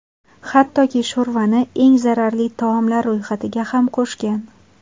Hattoki, sho‘rvani eng zararli taomlar ro‘yxatiga ham qo‘shgan.